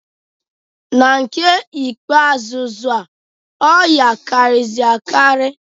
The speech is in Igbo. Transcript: Na nke ikpe azụa, ọya karịzịrị akarị.